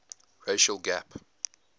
racial gap